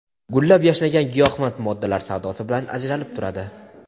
gullab-yashnagan giyohvand moddalar savdosi bilan ajralib turadi.